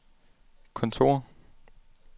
kontor